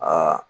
Aa